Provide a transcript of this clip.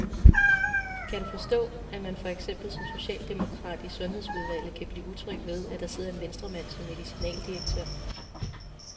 Kan du forstå, at man for eksempel som socialdemokrat i sundhedsudvalget kan blive utryg ved, at der sidder en venstremand som medicinaldirektør?